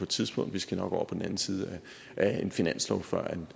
tidspunkt vi skal nok over på den anden side af en finanslov før